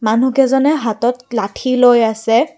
মানুহকেইজনে হাতত লাঠি লৈ আছে।